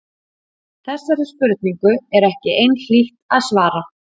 Þessari spurningu er ekki einhlítt að svara.